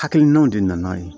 Hakilinaw de nana yen